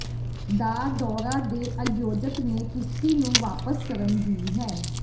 ਦਾ ਦੌਰਾ ਦੇ ਆਯੋਜਕ ਨੇ ਕਿਸ਼ਤੀ ਨੂੰ ਵਾਪਸ ਕਰਨ ਦੀ ਹੈ